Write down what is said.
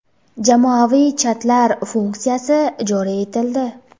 Jamoaviy chatlar funksiyasi joriy etildi.